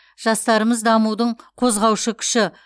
жастарымыз дамудың қозғаушы күші